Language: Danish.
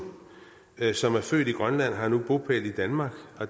som er født i grønland har nu bopæl i danmark